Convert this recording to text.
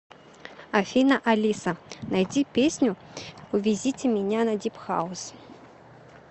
афина алиса найди песню увезите меня на дип хаус